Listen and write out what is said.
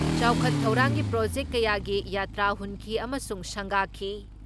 ꯆꯥꯎꯈꯠ ꯊꯧꯔꯥꯡꯒꯤ ꯄ꯭ꯔꯣꯖꯦꯛ ꯀꯌꯥꯒꯤ ꯌꯥꯇ꯭ꯔꯥ ꯍꯨꯟꯈꯤ ꯑꯃꯁꯨꯡ ꯁꯪꯒꯥꯈꯤ ꯫